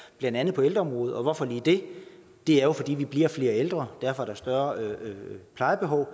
blandt andet på ældreområdet og hvorfor lige det det er jo fordi vi bliver flere ældre og derfor er der større plejebehov og